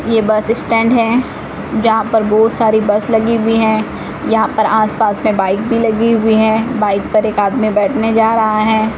यह bus stand है जहां पर बहुत सारी बस लगी हुई हैं यहां पर आस पास में बाइक भी लगी हुई है बाइक पर एक आदमी बैठने जा रहा है।